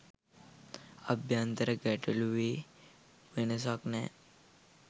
අභ්‍යන්තර ගැටළුවේ වෙනසක් නෑ